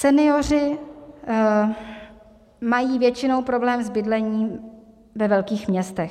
Senioři mají většinou problém s bydlením ve velkých městech.